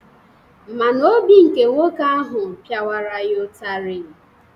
Ma na obi nke nwoke ahụ piawara ya ụtarị.